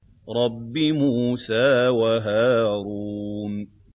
رَبِّ مُوسَىٰ وَهَارُونَ